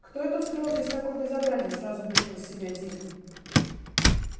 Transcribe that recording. кто это устроил здесь такое безобразие сразу вышел из себя дин